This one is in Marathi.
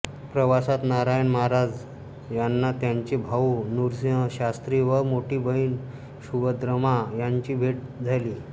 प्रवासात नारायण महाराज यांना त्यांचे भाऊ नृसिंहशास्त्री व मोठी बहीण सुभद्रम्मा यांची भेट झाली